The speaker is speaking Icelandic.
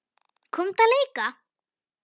Komdu að leika!